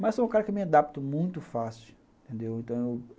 Mas sou um cara que me adapto muito fácil, entendeu?